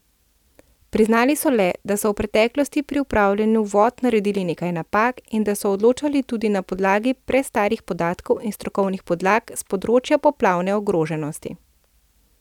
Priznali so le, da so v preteklosti pri upravljanju vod naredili nekaj napak in da so odločali tudi na podlagi prestarih podatkov in strokovnih podlag s področja poplavne ogroženosti.